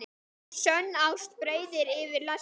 Sönn ást breiðir yfir lesti.